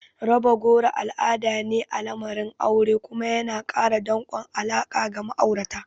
Raba goro al'ada ne a lamarin aure kuma yana ƙara danƙon alaƙa ga ma'aurata.